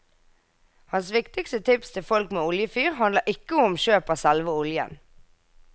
Hans viktigste tips til folk med oljefyr handler ikke om kjøp av selve oljen.